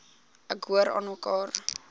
ek hoor aanmekaar